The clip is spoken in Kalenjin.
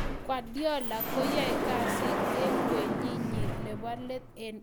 Guardiola koyoe kasit en kenyinyin nebo let en Etihad.